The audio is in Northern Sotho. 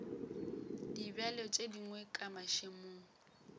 dibjalo tše dingwe ka mašemong